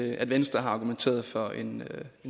i at venstre har argumenteret for en